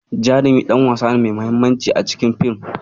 Jarumi ɗan wasa ne mai mahimmanci a cikin fim.